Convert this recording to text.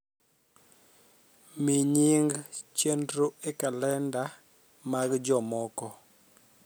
mi nying chenro e kalenda mag jomoko